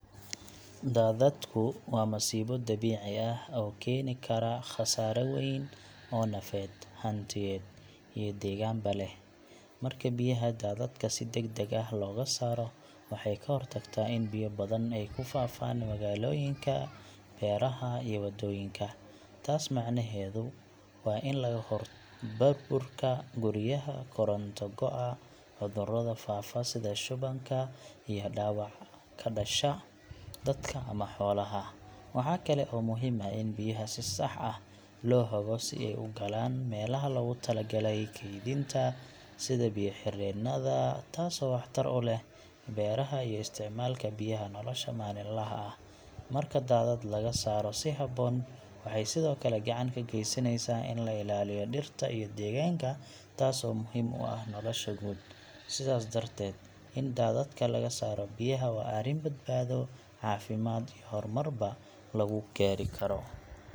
Daadadku waa masiibo dabiici ah oo keeni kara khasaare weyn oo nafeed, hantiyeed, iyo deegaanba leh. Marka biyaha daadadka si degdeg ah looga saaro, waxay ka hortagtaa in biyo badan ay ku faafaan magaalooyinka, beeraha, iyo wadooyinka. Taas macnaheedu waa in laga hortago burburka guryaha, koronto go'a, cudurro faafa sida shubanka, iyo dhaawaca ka dhasha dadka ama xoolaha. Waxa kale oo muhiim ah in biyaha si sax ah loo hago si ay u galaan meelaha loogu talagalay kaydinta, sida biyo-xireenada, taasoo waxtar u leh beeraha iyo isticmaalka biyaha nolosha maalinlaha ah. Marka daadad laga saaro si habboon, waxay sidoo kale gacan ka geysanaysaa in la ilaaliyo dhirta iyo deegaanka, taasoo muhiim u ah nolosha guud. Sidaas darteed, in daadadka laga saaro biyaha waa arrin badbaado, caafimaad iyo horumarba lagu gaari karo.